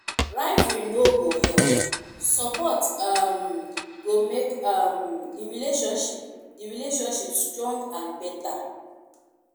rivalry no go help; support um go make um the relationship the relationship strong and better.